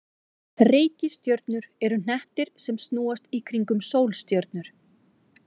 Reikistjörnur eru hnettir sem snúast í kringum sólstjörnur.